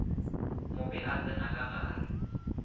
mobe a tsena ka gare